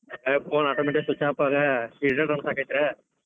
Phone automatic switch off ತೋರ್ಸಾಕತ್ರ್,